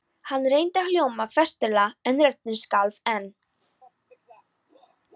Hann reyndi að hljóma festulega en röddin skalf enn.